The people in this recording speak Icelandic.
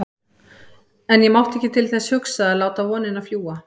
En ég mátti ekki til þess hugsa að láta vonina fljúga.